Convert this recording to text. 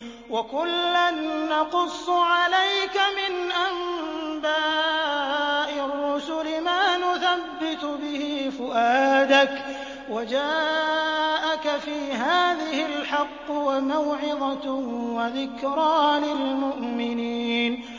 وَكُلًّا نَّقُصُّ عَلَيْكَ مِنْ أَنبَاءِ الرُّسُلِ مَا نُثَبِّتُ بِهِ فُؤَادَكَ ۚ وَجَاءَكَ فِي هَٰذِهِ الْحَقُّ وَمَوْعِظَةٌ وَذِكْرَىٰ لِلْمُؤْمِنِينَ